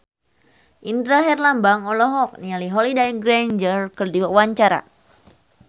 Indra Herlambang olohok ningali Holliday Grainger keur diwawancara